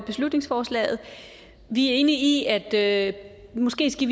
beslutningsforslaget vi er enige i at at vi måske skal